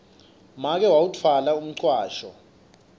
make wawutfwala umcwasho